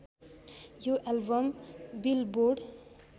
यो album billboard